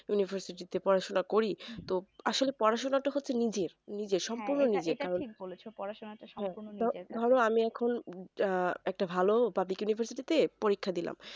university তে পড়াশোনা করি তো আসলে পড়াশোনাটা তো নিজের নিজের সম্পূর্ণ নিজের ধরো আমি এখন একটা ভালো উপাধিক university তে পরীক্ষা দিলাম